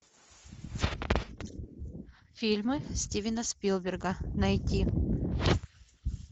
фильмы стивена спилберга найти